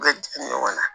U bɛ jigin ɲɔgɔn na